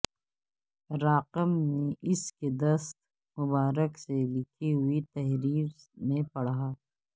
راقم نے ان کے دست مبارک سے لکھی ہوئی تحریر میں پڑھا